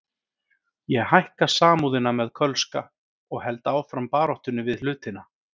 Ég hækka Samúðina með Kölska og held áfram baráttunni við hlutina.